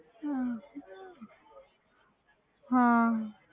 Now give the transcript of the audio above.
ਹਮ ਹਾਂ